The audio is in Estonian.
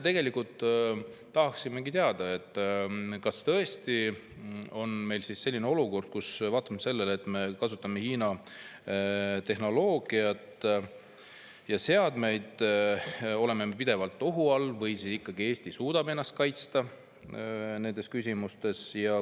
Tegelikult tahaksimegi teada, kas tõesti on meil selline olukord, kus vaatamata sellele, et me kasutame Hiina tehnoloogiat ja seadmeid, oleme me pidevalt ohu all, või siis ikkagi Eesti suudab ennast kaitsta nendes küsimustes.